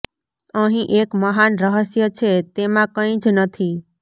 અહીં એક મહાન રહસ્ય છે તેમાં કંઈ જ નથી